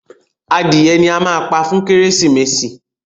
Adìye ní a má pá fún Kérésìmesì.